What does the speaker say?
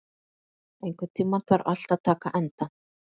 Daðína, einhvern tímann þarf allt að taka enda.